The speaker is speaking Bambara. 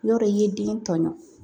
I b'a dɔn i ye den tɔɲɔ